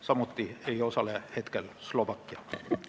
Samuti ei osale Slovakkia.